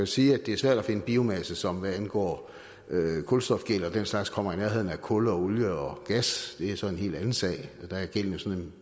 sige at det er svært at finde biomasse som hvad angår kulstofgæld og den slags kommer i nærheden af kul og olie og gas det er så en helt anden sag der er gælden